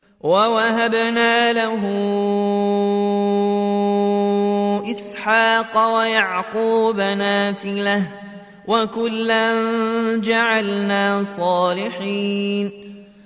وَوَهَبْنَا لَهُ إِسْحَاقَ وَيَعْقُوبَ نَافِلَةً ۖ وَكُلًّا جَعَلْنَا صَالِحِينَ